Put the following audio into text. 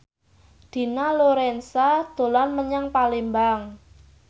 Dina Lorenza dolan menyang Palembang